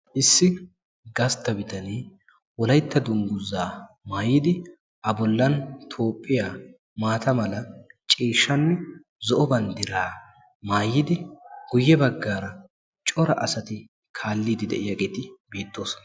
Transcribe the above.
Issi gastta bitane wolaytta dungguzza maayiddi toophiya banddira maayiidd cora asatti kaaliyagetti beetosonna.